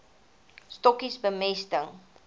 stokkies bemesting